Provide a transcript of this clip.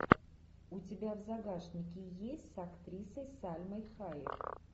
у тебя в загашнике есть с актрисой сальмой хайек